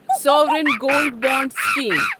sovereign gold bond scheme